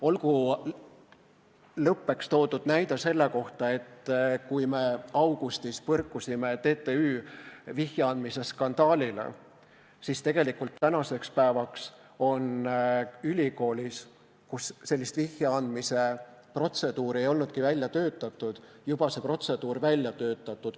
Olgu lõpuks toodud näide selle kohta, et kui me augustis põrkusime TTÜ vihje andmise skandaalile, siis ei olnud ülikoolil sellekohast protseduuri, aga nüüdseks on see juba välja töötatud.